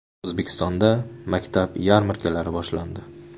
O‘zbekistonda maktab yarmarkalari boshlandi.